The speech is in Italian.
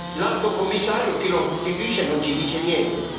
L'Alto commissario o chi lo sostituisce non ci dice niente.